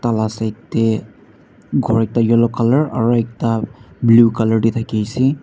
tala side tae ghor ekta yellow colour aro ekta blue colour tae thakiase.